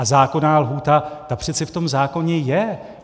A zákonná lhůta, ta přece v tom zákoně je!